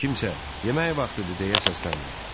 Kimsə, yemək vaxtıdır deyə səsləndi.